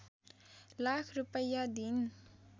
लाख रूपैयाँ दिइन्